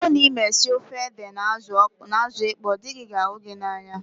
Ọ bụrụ na ịma esi ofe ede na azụ ịkpọ dị gị ga ahụ gị n'anya